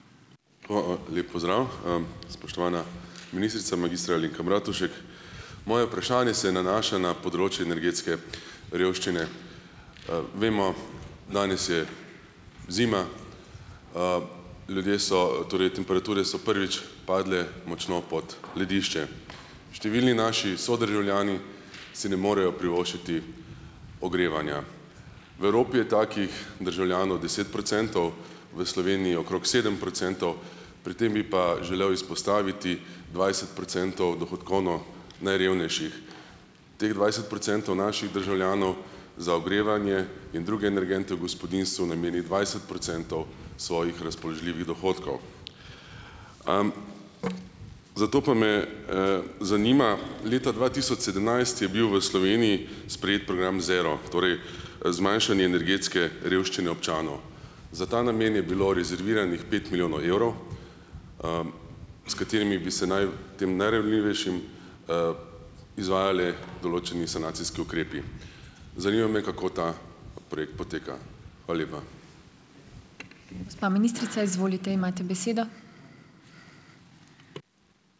Hvala, lep pozdrav! Spoštovana ministrica, magistra Alenka Bratušek, moje vprašanje se nanaša na področje energetske revščine. Vemo, danes je zima, ljudje so, torej temperature so prvič padle močno pod ledišče. Številni naši sodržavljani si ne morejo privoščiti ogrevanja. V Evropi je takih državljanov deset procentov, v Sloveniji okrog sedem procentov, pri tem bi pa želel izpostaviti dvajset procentov dohodkovno najrevnejših. Teh dvajset procentov naših državljanov za ogrevanje in druge energente v gospodinjstvu nameni dvajset procentov svojih razpoložljivih dohodkov. Zato pa me, zanima, leta dva tisoč sedemnajst je bil v Sloveniji sprejet program Zero, torej, zmanjšanje energetske revščine občanov. Za ta namen je bilo rezerviranih pet milijonov evrov, s katerimi bi se naj tem najranljivejšim izvajali določeni sanacijski ukrepi. Zanima me, kako ta projekt poteka. Hvala lepa.